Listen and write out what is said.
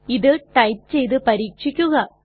ഇത് ടൈപ്പ് ചെയ്തു പരീക്ഷിക്കുക